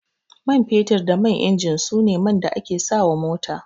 Man fetur da man injin su ne man da ake sa wa mota